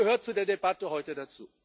Das gehört zu der Debatte heute dazu.